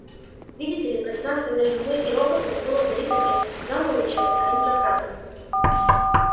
видите ли пространство между мной и роботами было залито не гамма-лучами а инфракрасными